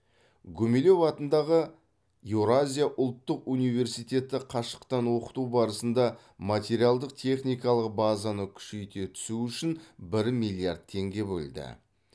гумилев атындағы еуразия ұлттық университеті қашықтан оқыту барысында материалдық техникалық базаны күшейте түсу үшін бір миллиард теңге бөлді